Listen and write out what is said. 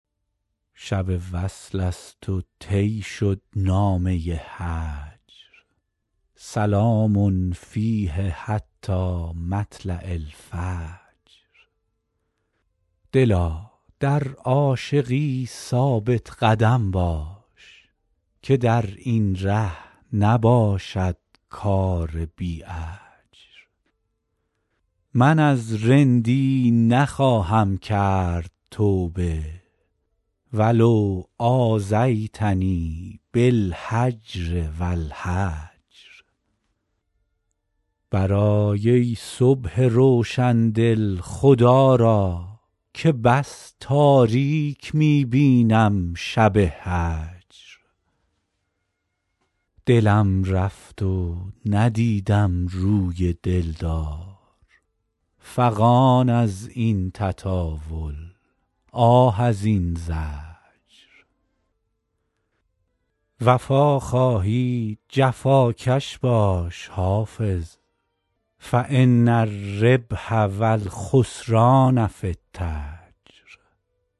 شب وصل است و طی شد نامه هجر سلام فیه حتی مطلع الفجر دلا در عاشقی ثابت قدم باش که در این ره نباشد کار بی اجر من از رندی نخواهم کرد توبه و لو آذیتنی بالهجر و الحجر برآی ای صبح روشن دل خدا را که بس تاریک می بینم شب هجر دلم رفت و ندیدم روی دل دار فغان از این تطاول آه از این زجر وفا خواهی جفاکش باش حافظ فان الربح و الخسران في التجر